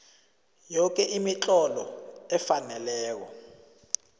yoke imitlolo efaneleko